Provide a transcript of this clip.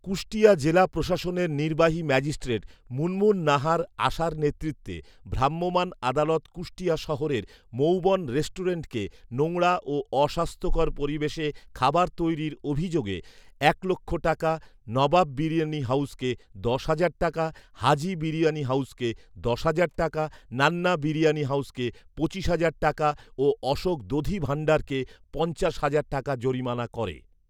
কুষ্টিয়া জেলা প্রশাসনের নির্বাহী ম্যাজিস্ট্রেট মুনমুন নাহার আশার নেতৃত্বে ভ্রাম্যমান আদালত কুষ্টিয়া শহরের মৌবন রেস্টুরেন্টকে নোংরা ও অস্বাস্থ্যকর পরিবেশে খাবার তৈরির অভিযোগে এক লক্ষ টাকা, নবাব বিরিয়ানি হাউজকে দশ হাজার টাকা, হাজী বিরিয়ানি হাউজকে দশ হাজার টাকা, নান্না বিরিয়ানি হাউজকে পঁচিশ হাজার টাকা ও অশোক দধি ভান্ডারকে পঞ্চাশ হাজার টাকা জরিমানা করে